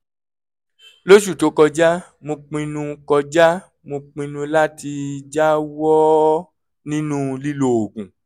lóṣù tó kọjá mo pinnu kọjá mo pinnu láti jáwọ́ nínú lílo oògùn